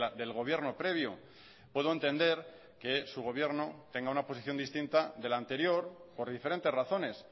del gobierno previo puedo entender que su gobierno tenga una posición distinta de la anterior por diferentes razones